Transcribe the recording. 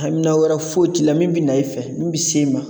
Amina wɛrɛ foyi t'i la min bɛ na i fɛ min bɛ s'e ma